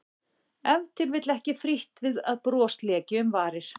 Ef til vill ekki frítt við að bros léki um varir.